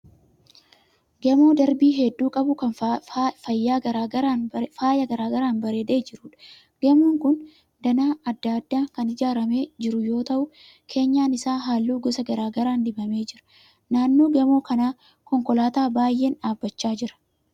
Gamoo darbii hedduu qabu kan faayya garaa garaan bareedee jiruudha. Gamoon kun danaa adda addaan kan ijaaramee jiru yoo ta'u keenyan isaa halluu gosa garaa garaan dibamee jira. Naannoo gamoo kanaa konkolaataa baay'een dhaabbachaa jira